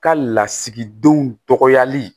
Ka lasigidenw dɔgɔyali